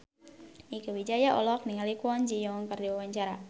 Mieke Wijaya olohok ningali Kwon Ji Yong keur diwawancara